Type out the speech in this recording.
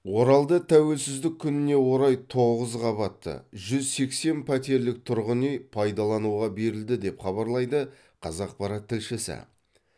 оралда тәуелсіздік күніне орай тоғыз қабатты жүз сексен пәтерлік тұрғын үй пайдалануға берілді деп хабарлайды қазақпарат тілшісі